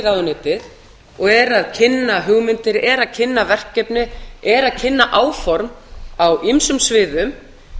ráðuneytið og er að kynna hugmyndir er að kynna verkefni er að kynna áform á ýmsum sviðum